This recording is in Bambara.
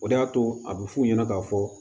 O de y'a to a bɛ f'u ɲɛna k'a fɔ